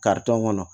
kɔnɔ